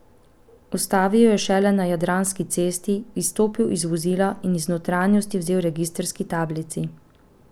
Ustavil je šele na Jadranski cesti, izstopil iz vozila in iz notranjosti vzel registrski tablici.